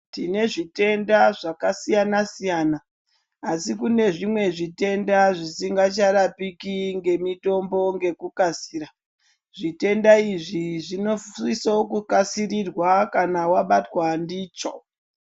Tine zvitenda zvakasiyana-siyana, asi kune zvimwe zvitenda zvisingacharapiki ngemitombo ngekukasira. Zvitenda izvi zvinosisokukasirirwa kana wabatwa ndicho.